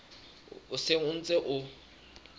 o seng o ntse o